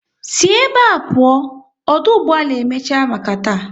Si ebe a pụọ, ọdụ ụgbọala e emechiela maka taa